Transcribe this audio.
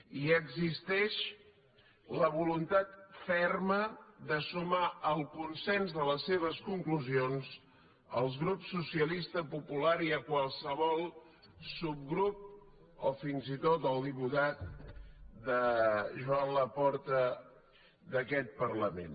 i existeix la voluntat ferma de sumar al consens de les seves conclusions els grups socialista popular i qualsevol subgrup o fins i tot el diputat joan laporta d’aquest parlament